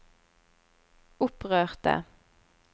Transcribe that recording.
opprørte